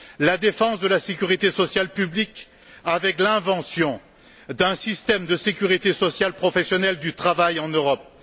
la défense de la sécurité sociale publique avec l'invention d'un système de sécurité sociale professionnelle du travail en Europe